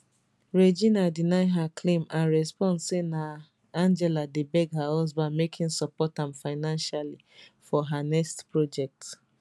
regina deny her claim and respond say na angela dey beg her husband make im support am financially for her next project